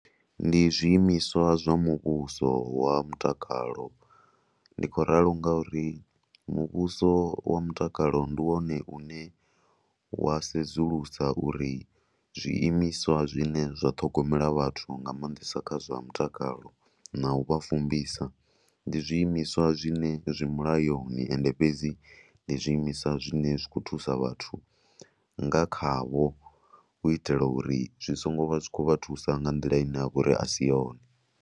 Ndi zwiimiswa zwa muvhuso wa mutakalo, ndi khou ralo ngauri muvhuso wa mutakalo ndi wone une wa sedzulusa uri zwiimiswa zwine zwa ṱhogomela vhathu nga maanḓesa kha zwa mutakalo na u vha fumbisia ndi zwiimiswa zwine zwi mulayoni ende fhedzi ndi zwiimiswa zwine zwi khou thusa vhathu nga khavho u itela uri zwi songo vha zwi khou vha thusa nga nḓila ine ya vha uri a si yone.